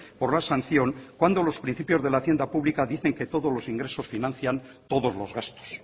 por la sanción cuando los principios de la hacienda pública dicen que todos los ingresos financian todos los gastos